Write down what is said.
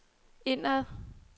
indad